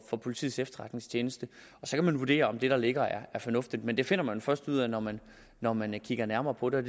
politiets efterretningstjeneste så kan man vurdere om det der ligger er fornuftigt men det finder man jo først ud af når man når man kigger nærmere på det